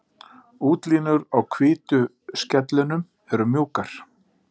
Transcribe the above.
Útlínur á hvítu skellunum eru mjúkar.